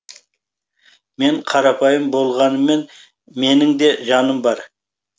мен қарапайым болғаныммен менің де жаным бар